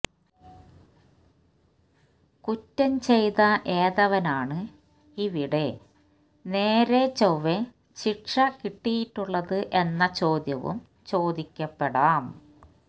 കുറ്റം ചെയ്ത ഏതവനാണ് ഇവിടെ നേരെ ചൊവ്വേ ശിക്ഷ കിട്ടിയിട്ടുള്ളത് എന്ന ചോദ്യവും ചോദിക്കപ്പെടാം